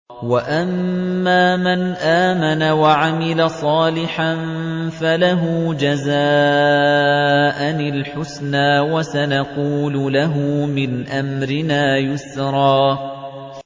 وَأَمَّا مَنْ آمَنَ وَعَمِلَ صَالِحًا فَلَهُ جَزَاءً الْحُسْنَىٰ ۖ وَسَنَقُولُ لَهُ مِنْ أَمْرِنَا يُسْرًا